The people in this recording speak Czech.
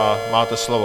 A máte slovo.